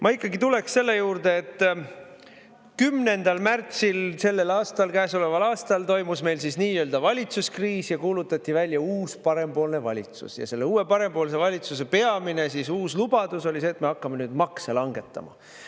Ma ikkagi tuleksin selle juurde, et 10. märtsil sellel aastal, käesoleval aastal toimus meil nii-öelda valitsuskriis ja kuulutati välja uus parempoolne valitsus ja selle uue parempoolse valitsuse peamine uus lubadus oli see, et me hakkame nüüd makse langetama.